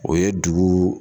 O ye dugu